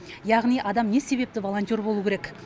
яғни адам не себепті волонтер болуы керек